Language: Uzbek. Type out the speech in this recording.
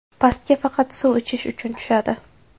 Pastga faqat suv ichish uchun tushadi.